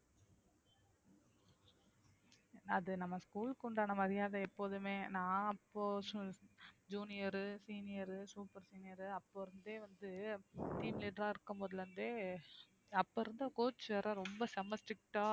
அது நம்ம school க்கு உண்டான மரியாதை எப்போதுமே நான் அப்போ junior உ senior உ super senior உ அப்போ இருந்தே வந்து team லயேதான் இருக்கும்போதுல இருந்தே அப்ப இருந்த coach வேற ரொம்ப செம strict ஆ